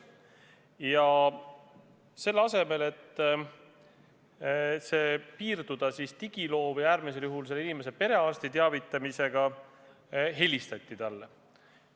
Ja selle asemel, et piirduda selle inimese digiloo täiendamisega või äärmisel juhul tema perearsti teavitamisega, helistati talle endale.